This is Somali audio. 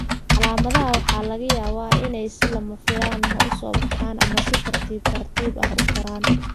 Calaamadaha waxaa laga yaabaa inay si lama filaan ah u soo baxaan ama si tartiib tartiib ah u koraan.